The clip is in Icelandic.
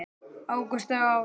Ágústa og Ásdís.